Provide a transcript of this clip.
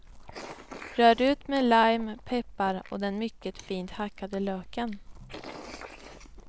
Rör ut med lime, peppar och den mycket fint hackade löken.